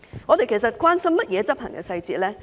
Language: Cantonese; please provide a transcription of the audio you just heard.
我們其實關心甚麼執行細節呢？